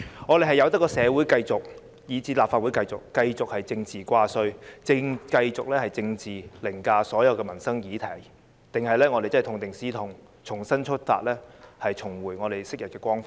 我們應該任由社會以至立法會繼續以政治掛帥，繼續以政治凌駕所有民生議題，還是應該痛定思痛，重新出發，重回昔日光輝？